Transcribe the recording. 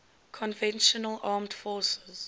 conventional armed forces